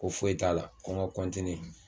Ko foyi t'a la ko ŋa